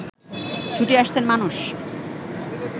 ছুটে আসছেন মানুষ